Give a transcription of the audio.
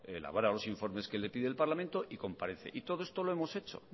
elabora los informes que le pide el parlamento y comparece y todo esto lo hemos hecho